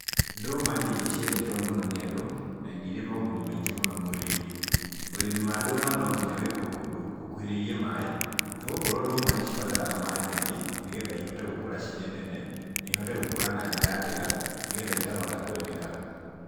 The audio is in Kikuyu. Ndũma nĩ irio ciendetwo mũno nĩ andũ, na nĩ irĩ moguni maingĩ mũno mwĩrĩ-inĩ. Ũrĩmi wa ndũma nonginya wĩkwo kũndũ gũkuhĩrĩirie maĩ, nĩ gũkorwo ndũma nĩcibataraga maĩ maingĩ, nĩgetha ihote gũkũra cirĩ nene, na ihote gũkũra na njĩra njega, nĩgetha ikahota kwendeka